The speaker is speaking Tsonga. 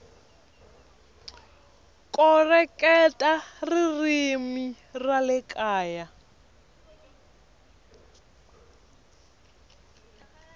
koreketa ririmi ra le kaya